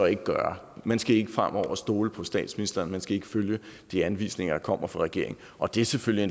ikke gøre man skal ikke fremover stole på statsministeren man skal ikke følge de anvisninger der kommer fra regeringen og det er selvfølgelig